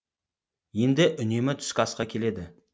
енді үнемі түскі асқа келеді